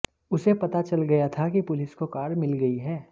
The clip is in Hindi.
उसे पता चल गया था कि पुलिस को कार मिल गई है